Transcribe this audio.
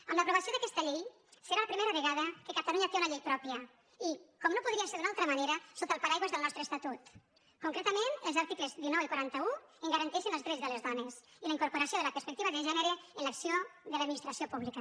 amb l’aprovació d’aquesta llei serà la primera vegada que catalunya té una llei pròpia i com no podria ser d’una altra manera sota el paraigües del nostre esta·tut concretament els articles dinou i quaranta un garanteixen els drets de les dones i la incorporació de la perspectiva de gènere en l’acció de l’administració pública